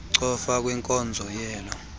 cofa kwinkonzo leyo